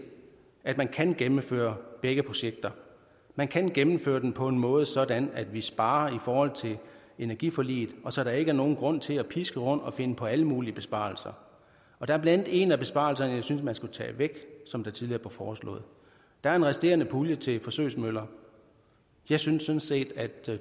at man kan gennemføre begge projekter man kan gennemføre dem på en måde sådan at vi sparer i forhold til energiforliget og så der ikke er nogen grund til at piske rundt og finde på alle mulige besparelser der er blandt andet en af besparelserne jeg synes man skulle tage væk som det tidligere blev foreslået der er en resterende pulje til forsøgsmøller jeg synes sådan set at